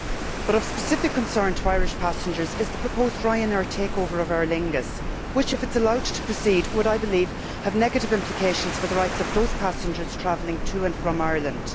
But of specific concern to Irish passengers is the proposed Ryanair takeover of Aer Lingus which, if it is allowed to proceed, would have negative implications for the rights of those passengers travelling to and from Ireland.